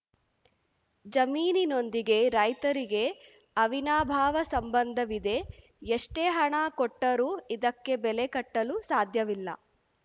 ಜಮೀನಿನೊಂದಿಗೆ ರೈತರಿಗೆ ಅವಿನಾಭಾವ ಸಂಬಂಧವಿದೆ ಎಷ್ಟೇ ಹಣ ಕೊಟ್ಟರೂ ಇದಕ್ಕೆ ಬೆಲೆ ಕಟ್ಟಲು ಸಾಧ್ಯವಿಲ್ಲ